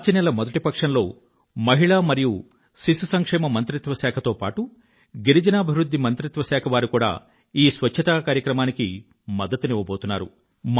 మార్చి నెల మొదటి పక్షంలో మహిళా మరియు శిశు సంక్షేమ మంత్రిత్వ శాఖ తో పాటూ గిరిజనాభివృధ్ధి మంత్రిత్వ శాఖ వారు కూడా ఈ స్వచ్ఛత కార్యక్రమానికి మద్దతునివ్వబోతున్నారు